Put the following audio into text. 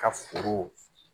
Ka foro